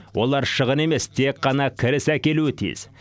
олар шығын емес тек қана кіріс әкелуі тиіс